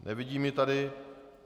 Nevidím ji tady.